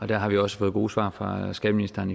der har vi også fået gode svar fra skatteministeren